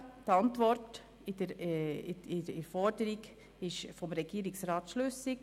Die Antwort des Regierungsrats zur Forderung ist schlüssig.